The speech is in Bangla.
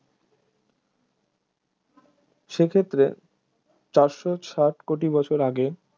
সেক্ষেত্রে চারশো ষাট কোটি বছর আগে